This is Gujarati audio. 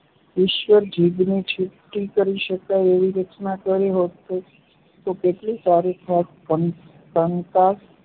ઈશ્વરે જીભને છૂટી કરી શકાય એવી રચના કરી હોત તો કેટલું સારું થાત કંકાસ